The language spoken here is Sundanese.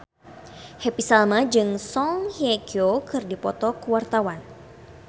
Happy Salma jeung Song Hye Kyo keur dipoto ku wartawan